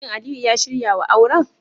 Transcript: Shin Aliyu ya shirya wa auren?